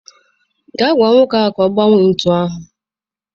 Gaa gwa nwoke ahụ ka ọ gbanwee ntu ahụ.